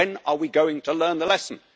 When are we going to learn the lesson?